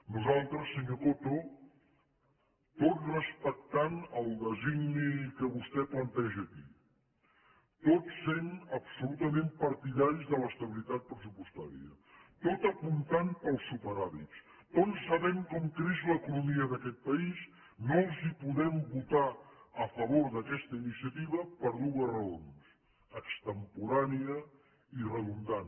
nosaltres senyor coto tot respectant el designi que vostè planteja aquí tot sent absolutament partidaris de l’estabilitat pressupostària tot apuntant pels superàvits tot sabent com creix l’economia d’aquest país no els podem votar a favor aquesta iniciativa per dues raons extemporània i redundant